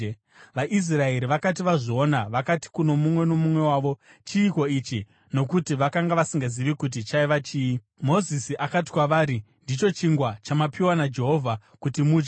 VaIsraeri vakati vazviona, vakati kuno mumwe nomumwe wavo, “Chiiko ichi?” Nokuti vakanga vasingazivi kuti chaiva chii. Mozisi akati kwavari, “Ndicho chingwa chamapiwa naJehovha kuti mudye.